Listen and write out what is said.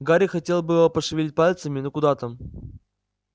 гарри хотел было пошевелить пальцами но куда там